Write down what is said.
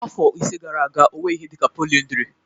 Afọ ise gara aga ọ nweghị ihe dị ka polyndry